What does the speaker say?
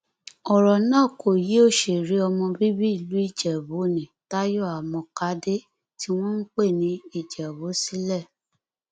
ọrọ náà kò yọ òṣèré ọmọ bíbí ìlú ìjẹbù nni tayo àmọkàdé tí wọn ń pè ní ìjẹbù sílẹ